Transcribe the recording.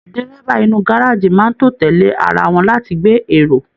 Dírẹ́bà inú gárájí máa n tó tẹlẹ ará wọn láti gbé èrò.